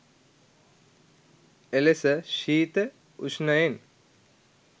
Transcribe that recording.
එලෙස ශීත, උෂ්ණයෙන්